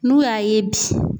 N'u y'a ye bi.